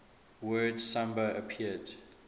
word samba appeared